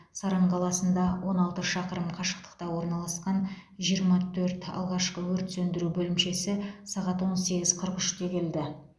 саран қаласында он алты шақырым қашықтықта орналасқан жиырма төрт алғашқы өрт сөндіру бөлімшесі сағат он сегіз қырық үште келді